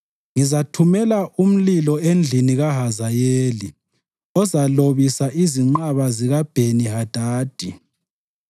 ngizathumela umlilo endlini kaHazayeli ozalobisa izinqaba zikaBheni-Hadadi.